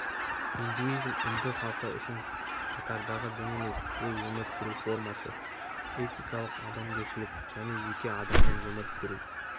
индуизм үнді халкы үшін қатардағы дін емес ол өмір сүру формасы этикалык адамгершілік және жеке адамның өмір сүру